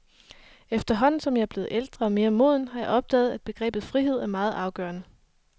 Efterhånden som jeg bliver ældre og mere moden, har jeg opdaget, at begrebet frihed er meget afgørende.